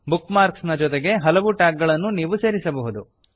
book marks ನ ಜೊತೆಗೆ ಹಲವು ಟ್ಯಾಗ್ ಗಳನ್ನೂ ನೀವು ಸೇರಿಸಬಹುದು